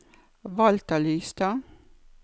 Walter Lystad